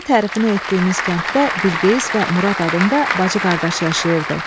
Belə tərifini etdiyimiz kənddə Bilqeyis və Murad adında bacı-qardaş yaşayırdı.